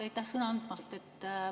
Aitäh sõna andmast!